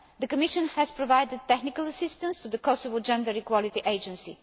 The Commission has provided technical assistance to the Kosovo Gender Equality Agency.